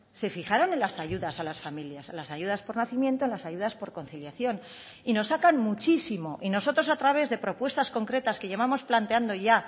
se fijaron en las ayudas a las familias a las ayudas por nacimiento en las ayudas por conciliación y nos sacan muchísimo y nosotros a través de propuestas concretas que llevamos planteando ya